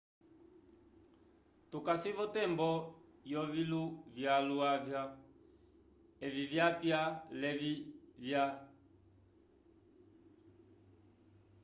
tucasi votembo yoviluvyaluvya evi vyapya levi vya